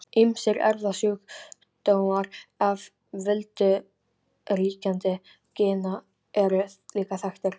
Ýmsir erfðasjúkdómar af völdum ríkjandi gena eru líka þekktir.